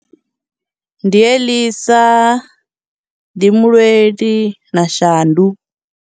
Ndi Elisa, ndi Mulweli, na Shandu.